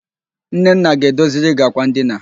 Nnenna ga-edoziri gi àkwà ndina.